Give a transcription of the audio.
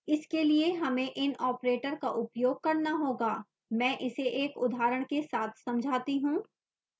इसके लिए हमें in operator का उपयोग करना होगा मैं इसे एक उदाहरण के साथ समझाती हूँ